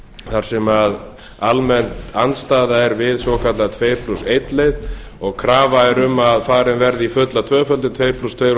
þar sem almenn andstaða er við svokallaða tuttugu og ein leið og krafa er um að farið verði í fulla tvöföldun tuttugu og tvö og